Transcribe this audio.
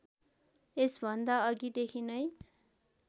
यसभन्दा अघिदेखि नै